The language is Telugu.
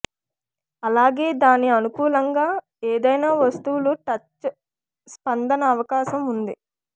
అలాగే దాని అనుకూలంగా ఏదైనా వస్తువులు టచ్ స్పందన అవకాశం ఉంది